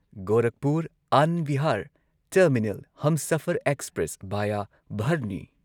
Gorakhpur and Bihar terminal Humsafar express via ꯚꯔꯅꯤ